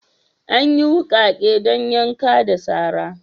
Anyi wukake dan yanka da sara.